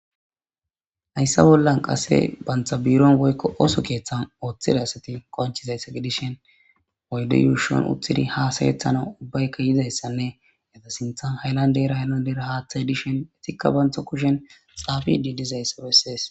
Hayissa bollani qase banitta bironi qasse osso kethani utidi qoncishini dizayissanne gidishin oyide yushani utidi hasayetanawu ubayika yidayisane sinthanika hayilanidera hayilandera hathayi dishin istika bantawu kushen xafidi dizayisa besesi